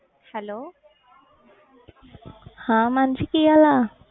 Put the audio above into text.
Hello ਹਾਂ ਮਾਨਸੀ ਕੀ ਹਾਲ ਆ?